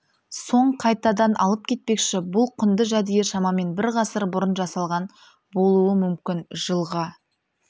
соң қайтадан алып кетпекші бұл құнды жәдігер шамамен бір ғасыр бұрын жасалған болуы мүмкін жылға